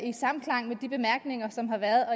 i samklang med de bemærkninger som har været